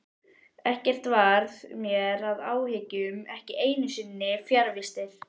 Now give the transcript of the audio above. Ekkert varð mér að áhyggjum, ekki einu sinni fjarvistir.